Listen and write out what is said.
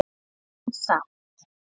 En samt.